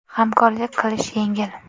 Hamkorlik qilish yengil!